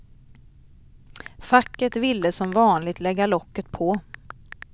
Facket ville som vanligt lägga locket på.